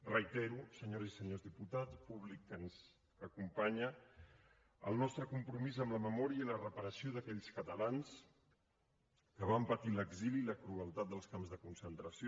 reitero senyores i senyors diputats públic que ens acompanya el nostre compromís amb la memòria i la reparació d’aquells catalans que van patir l’exili i la crueltat dels camps de concentració